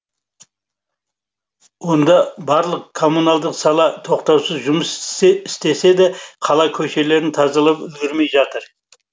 онда барлық коммуналдық сала тоқтаусыз жұмыс істесе де қала көшелерін тазалап үлгермей жатыр